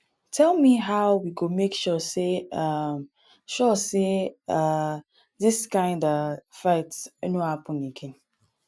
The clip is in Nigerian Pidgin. tell me how we go make sure sey um sure sey um dis kind um fight no happen again